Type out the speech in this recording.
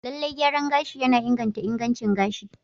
Lallai, gyaran gashi yana inganta ingancin gashi.